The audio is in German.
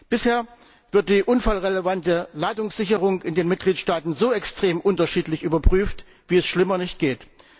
Bisher wird die unfallrelevante Ladungssicherung in den Mitgliedstaaten so extrem unterschiedlich überprüft, wie es schlimmer nicht geht.